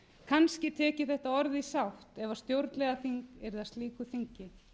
kannski tek ég þetta orð í sátt ef stjórnlagaþing yrði að slíku þingi